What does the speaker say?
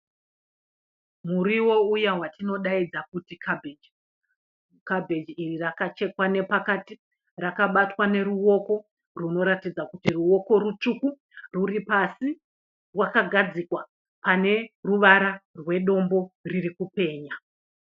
Muriwo uya watinodaidza kuti kabheji. Kabheji iri rakachekwa nepakati . Rakabatwa neruoko runoratidza kuti ruoko rutsvuku rwuri pasi. Rakagadzikwa pane ruvara rwedombo riri kupenya.